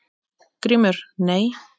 GRÍMUR: Nei?